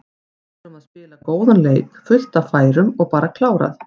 Vorum að spila góðan leik, fullt af færum og bara klárað.